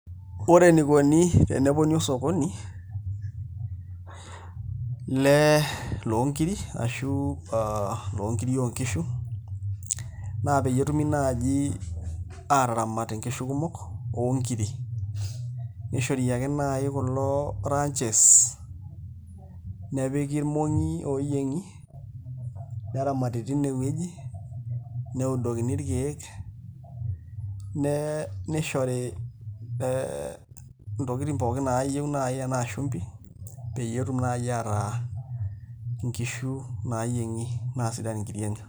Ore enikoni teneponi osokoni lonkiri ashu aa loonkiri oonkishu naa peyie etumi naai aataramat nkishu kumok oonkiri nishori ake naai kulo ranches nepiki irmong'i ooyieng'i neramati tineweuji neudokini irkeek nishori ntokitin pookin naayieu tenaa shumbi, pee etumoki naai ataa nkishu naayieng'i naa sidan nkiri enye.